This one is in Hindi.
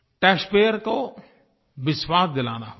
टैक्सपेयर को विश्वास दिलाना होगा